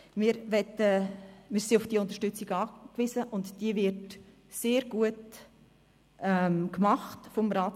Diese Unterstützung wird vom Ratssekretariat sehr gut wahrgenommen.